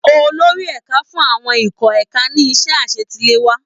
Olórí ẹ̀ka fún àwọn ikọ̀ ẹ̀ka ní iṣẹ́ àṣetiléwá